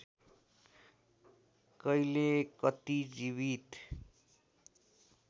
कहिले कति जीवित